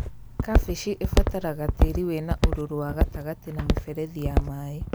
Kambĩji ĩbataraga tĩĩri wĩna ũrũrũ wa gatagatĩ na mĩberethi ya maĩ